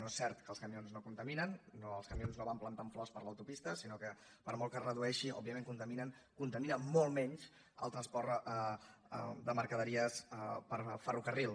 no és cert que els camions no contaminen els camions no van plantant flors per l’autopista sinó que per molt que es redueixi òbviament contaminen contamina molt menys el transport de mercaderies per ferrocarril